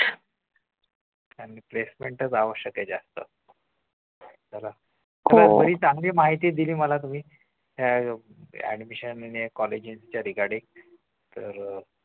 placement च आवश्यक आहे जास्त एवढी चांगली माहिती दिली मला तुम्ही admission आणि कॉलेजेसच्या regarding तर अह